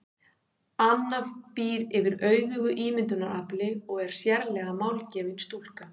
Anna býr yfir auðugu ímyndunarafli og er sérlega málgefin stúlka.